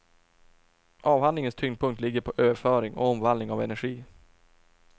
Avhandlingens tyngdpunkt ligger på överföring och omvandling av energi.